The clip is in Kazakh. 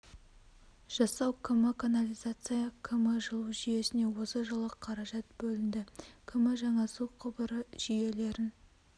жасау км канализация км жылу жүйесіне осы жылы қаражат бөлінді км жаңа су құбыры жүйелерін